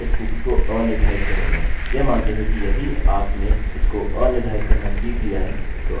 यह मानते हुए कि यदि आपने इसो अनिर्धारित करना सीख लिया है तो आप इसको भी अनिर्धारित कर सकते हैं